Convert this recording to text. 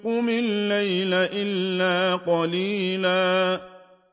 قُمِ اللَّيْلَ إِلَّا قَلِيلًا